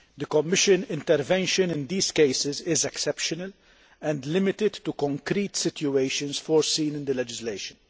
Commission intervention in these cases is exceptional and limited to concrete situations foreseen in the legislation.